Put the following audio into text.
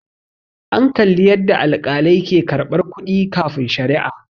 an Kalli yadda alkalai ke karɓar kuɗi kafin sharia